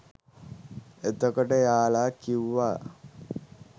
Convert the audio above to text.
එතකොට එයාලා කිව්වා